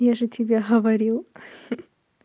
я же тебе говорил ха-ха